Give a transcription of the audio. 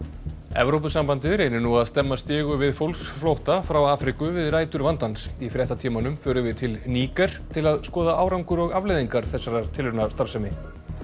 Evrópusambandið reynir nú að stemma stigu við fólksflótta frá Afríku við rætur vandans í fréttatímanum förum við til Níger til að skoða árangur og afleiðingar þessarar tilraunastarfsemi